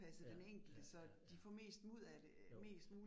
Ja, ja ja ja. Jo